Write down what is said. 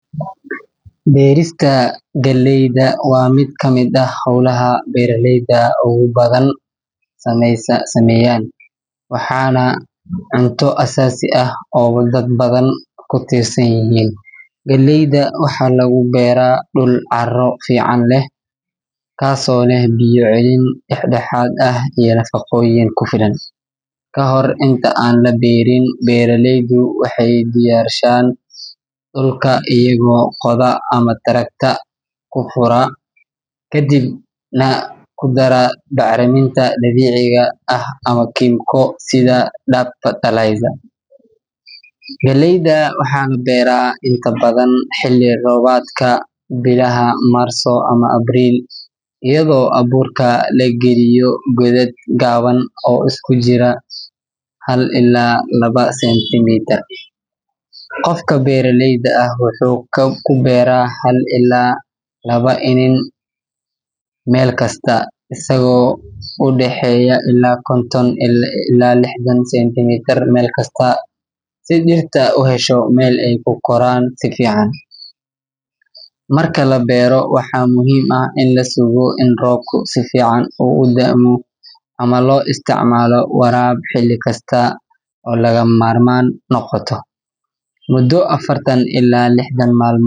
Berista galeyda waa miid kamiid ah holaha beera leyda ogu badan sameyan waxana cunto asasi ah oo dad badan kutirsan yihin galeyda waxaa lagu beera caro fican leh kas oo leh biyo celin, beera leydu waxee diyarshan dulka iyo ama taragta hora kadiib nah baxriminta dabiciga ah ama kimico, galeyda waxan beera xiliyaada robka sitha marso ama april iyadha oo aburka lagaliyo qodaad gawan, qofka beera leyda wuxuu ku beera hal ila lawa senti isaga oo udaxeyo konton ila lixdan centimetre, marka la beero waxaa muhiim ah in lasugo in robku u damo ama lo isticmalo waraba xili kasta oo laga mamarman noqoto xili kasta mudo afartan ila lixdan mal mod.